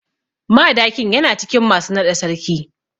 Madakin yana cikin masu naɗa sarki.